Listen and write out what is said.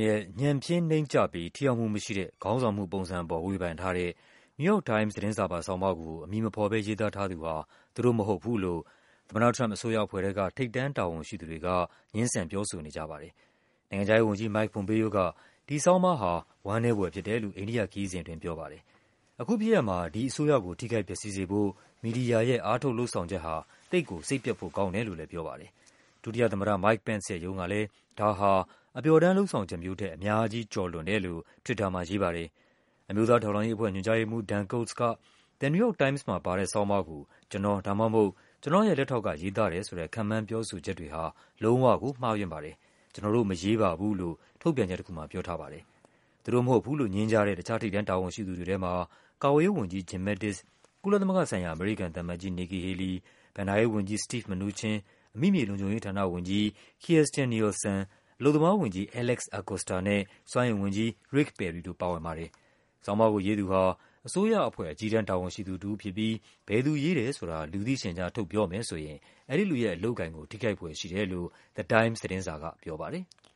ရဲ့ “ညံ့ဖျင်း နိမ့်ကျပြီး ထိရောက်မှုမရှိတဲ့” ခေါင်းဆောင်မှုပုံစံအပေါ် ဝေဖန်ထားတဲ့ NewYork Times သတင်းစာပါ ဆောင်းပါးကို အမည်မဖော်ဘဲ ရေးသားထားသူဟာ သူတို့မဟုတ်ဘူးလို့ သမ္မတ Trump အစိုးရအဖွဲ့ထဲက ထိပ်တန်းတာဝန်ရှိသူတွေက ငြင်းဆန် ပြောဆိုနေကြပါတယ်။ နိုင်ငံခြားရေးဝန်ကြီး Mike Pompeo က ဒီဆောင်းပါးဟာ “ဝမ်းနည်းဖွယ်” ဖြစ်တယ်လို့ အိန္ဒိယခရီးစဉ်အတွင်း ပြောပါတယ်။ “အခုဖြစ်ရပ်မှာ ဒီအစိုးရကို ထိခိုက်ပျက်စီးစေဖို့ မီဒီယာရဲ့ အားထုတ်လုပ်ဆောင်ချက်ဟာ သိပ်ကို စိတ်ပျက်ဖို့ကောင်းတယ်” လို့လည်းပြောပါတယ်။ ဒုသမ္မတ Mike Pence ရဲ့ရုံးကလည်း ဒါဟာ “အပျော်တမ်း လုပ်ဆောင်ချက်မျိုးထက် အများကြီး ကျော်လွန်တယ်” လို့ Twitter မှာရေးပါတယ်။ အမျိုးသားထောက်လှမ်းရေးအဖွဲ့ ညွှန်ကြားရေးမှူး Dan Coats က “The New York Times မှာ ပါတဲ့ ဆောင်းပါး ကို ကျနော် ဒါမှမဟုတ် ကျနော့်ရဲ့လက်ထောက်က ရေးသားတယ်ဆိုတဲ့ ခန့်မှန်းပြောဆိုချက်တွေဟာ လုံးဝကို မှားယွင်းပါတယ်။ ကျနော်တို့ မရေးပါဘူး” လို့ ထုတ်ပြန်ချက်တခုမှာ ပြောထားပါတယ်။ သူတို့မဟုတ်ဘူးလို့ ငြင်းကြတဲ့ တခြား ထိပ်တန်းတာဝန်ရှိသူတွေထဲမှာ ကာကွယ်ရေးဝန်ကြီး Jim Mattis ၊ ကုလသမဂ္ဂဆိုင်ရာ အမေရိကန်သံအမတ်ကြီး Nikki Haley ၊ ဘဏ္ဍာရေးဝန်ကြီး Steve Mnuchin ၊ အမိမြေလုံခြုံရေးဌာနဝန်ကြီး Kirstjen Nielsen ၊ အလုပ်သမားဝန်ကြီး Alex Acosta နဲ့ စွမ်းအင်ဝန်ကြီး Rick Perry တို့ပါဝင်ပါတယ်။ ဆောင်းပါးကို ရေးသူဟာ အစိုးရအဖွဲ့ အကြီးတန်း တာဝန်ရှိသူတဦးဖြစ်ပြီး ဘယ်သူရေးတယ်ဆိုတာ လူသိရှင်ကြား ထုတ်ပြော မယ်ဆိုရင် အဲဒီလူရဲ့ အလုပ်အကိုင်ကို ထိခိုက်ဖွယ်ရှိတယ်လို့ The Times သတင်းစာကပြောပါတယ်။